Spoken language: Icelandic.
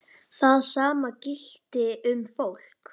Það sama gilti um fólk.